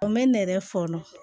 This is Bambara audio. O bɛ ne yɛrɛ fɔlɔ